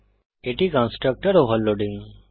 এটি হল constructor overloading